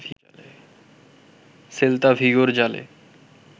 Celta ভিগোর জালে